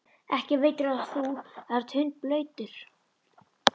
Ekki veitir af, þú ert hundblautur.